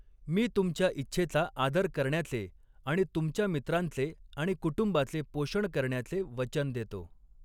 मी तुमच्या इच्छेचा आदर करण्याचे आणि तुमच्या मित्रांचे आणि कुटुंबाचे पोषण करण्याचे वचन देतो.